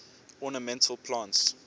ornamental plants